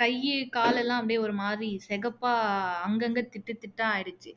கை காலெல்லாம் அப்படியே ஒரு மாதிரி சிகப்பா அங்கங்க திட்டுதிட்டா ஆகிடுச்சு